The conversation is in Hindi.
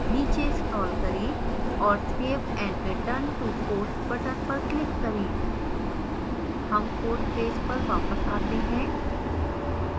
नीचे scroll करें और save and return to course button पर click करें